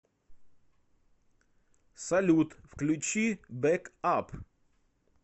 салют включи бэк ап